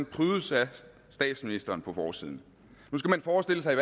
prydes af statsministeren på forsiden nu skal man forestille sig at